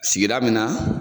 Sigida min na